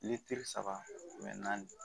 Ni teri saba naani